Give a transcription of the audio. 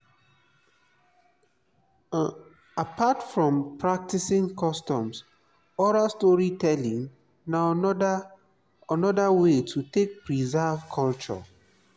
apart from practicing customs oral story telling na another another way to take preserve culture